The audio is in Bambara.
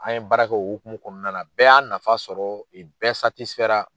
An ye baara kɛ o hukumu kɔnɔna na bɛɛ y'a nafa sɔrɔ i bɛɛ ra.